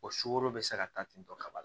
O sukoro bɛ se ka taa ten tɔ kaba la